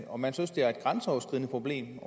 om man synes det er et grænseoverskridende problem